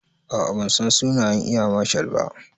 A'a bansan sunan eya marshal ba